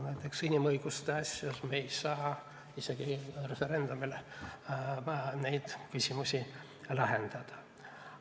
Näiteks, inimõiguste asjus ei saa me isegi referendumil neid küsimusi lahendada.